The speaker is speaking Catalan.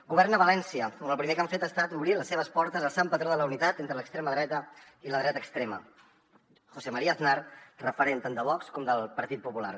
governa a valència on el primer que han fet ha estat obrir les seves portes al sant patró de la unitat entre l’extrema dreta i la dreta extrema josé maría aznar referent tant de vox com del partit popular